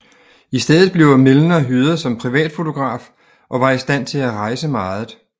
I stedet blev Milner hyret som privatfotograf og var i stand til at rejse meget